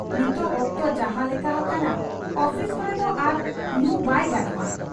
ᱱᱤᱛᱚᱜ ᱚᱠᱛᱚ ᱡᱟᱦᱟᱸ ᱞᱮᱠᱟ ᱦᱟᱠᱟᱱᱟ, ᱚᱯᱷᱤᱥ ᱠᱚᱨᱮ ᱫᱚ ᱟᱨ ᱧᱩ ᱵᱟᱭ ᱜᱟᱱᱚᱜ ᱟ ᱾